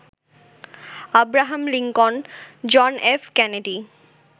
Abraham Lincoln, John F Kennedy